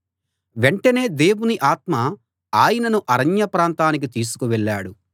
వెంటనే దేవుని ఆత్మ ఆయనను అరణ్య ప్రాంతానికి తీసుకు వెళ్ళాడు